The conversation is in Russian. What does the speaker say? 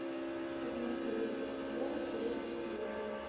обмен корейских вон в турецких лирах